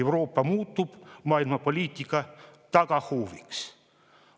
Euroopa muutub maailmapoliitika tagahooviks.